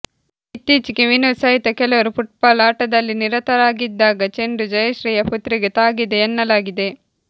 ಇತ್ತೀಚೆಗೆ ವಿನೋದ್ ಸಹಿತ ಕೆಲವರು ಫುಟ್ಬಾಲ್ ಆಟದಲ್ಲಿ ನಿರತರಾಗಿದ್ದಾಗ ಚೆಂಡು ಜಯಶ್ರೀಯ ಪುತ್ರಿಗೆ ತಾಗಿದೆಯೆನ್ನಲಾಗಿದೆ